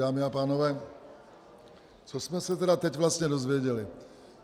Dámy a pánové, co jsme se tedy teď vlastně dozvěděli?